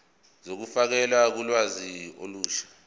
zokufakelwa kolwazi olusha